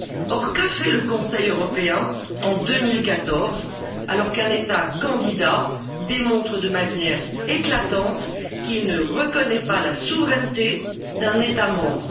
Or, que fait le Conseil européen en 2014, alors qu'un État candidat démontre de manière éclatante qu'il ne reconnaît pas la souveraineté d'un État membre?